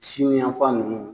Sini yanfan nunnu